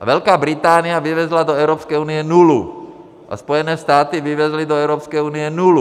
A Velká Británie vyvezla do Evropské unie nulu a Spojené státy vyvezly do Evropské unie nulu.